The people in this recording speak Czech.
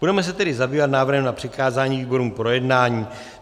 Budeme se tedy zabývat návrhem na přikázání výborům k projednání.